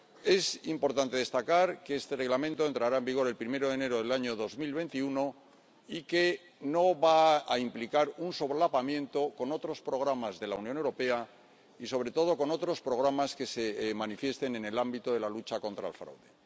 Es importante destacar que este Reglamento entrará en vigor el primero de enero del año 2021 y que no va a implicar un solapamiento con otros programas de la Unión Europea y, sobre todo, con otros programas que se manifiesten en el ámbito de la lucha contra el fraude.